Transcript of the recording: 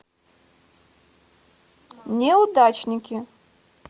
неудачники